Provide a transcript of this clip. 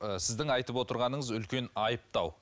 і сіздің айтып отырғаныңыз үлкен айыптау